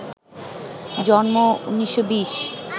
জন্ম ১৯২০